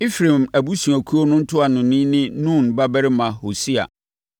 Efraim abusuakuo no ntuanoni ne Nun babarima Hosea;